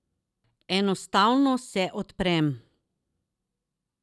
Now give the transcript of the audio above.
Enostavno se odprem.